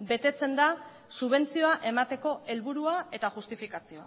betetzen da subentzioa emateko helburua eta justifikazioa